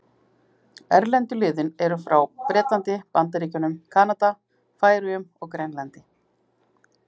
Erlendu liðin eru frá Bretlandi, Bandaríkjunum, Kanada, Færeyjum og Grænlandi.